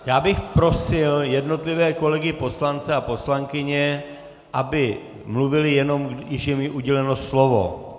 Já bych prosil jednotlivé kolegy poslance a poslankyně, aby mluvili, jenom když je jim uděleno slovo.